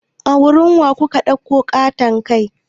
A wurin wa kuka ɗauko ƙaton kai?